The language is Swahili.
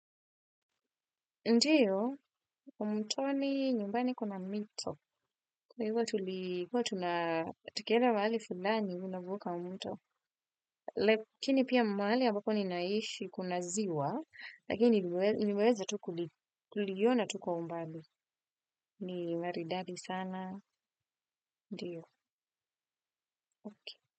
Ndiyo, mtoni nyumbani kuna mito. Kwa hivyo, huwa tukienda mahali fulani mnavuka mto. Lakini pia mahali ambapo ninaishi kuna ziwa, lakini nimeweza tu kuliona tu kwa umbali. Ni maridadi sana. Ndiyo. Okay.